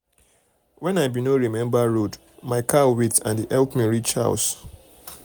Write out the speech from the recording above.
wen i bin no remember um road my cow wait and e help me reach house